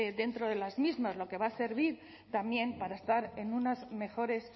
de las mismas lo que va a servir también para estar en unas mejores